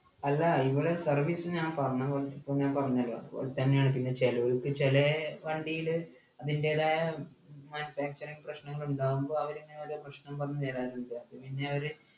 അല്ല ഇങ്ങള് service ഞാൻ പറഞ്ഞപോലെ പ്പൊ ഞാൻ പറഞ്ഞല്ലോ അതുപോലെതന്നെയാണ് പിന്നെ ചെലവ് ഇപ്പോ ചെലെ വണ്ടിയില് അതിൻ്റെതായ manufacturing പ്രശ്നങ്ങളുണ്ടാകുമ്പോ അവരിങ്ങനെ വല്ല പ്രശ്നം പറഞ്ഞു തരാറും ഇല്ല പിന്നെ അവര്